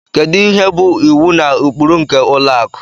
Kedu ihe bụ iwu na ụkpụrụ nke ụlọ akụ